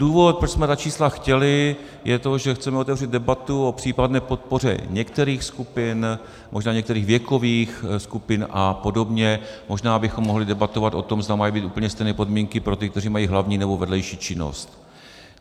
Důvod, proč jsme ta čísla chtěli, je to, že chceme otevřít debatu o případné podpoře některých skupin, možná některých věkových skupin a podobně, možná bychom mohli debatovat o tom, zda mají být úplně stejné podmínky pro ty, kteří mají hlavní, nebo vedlejší činnost.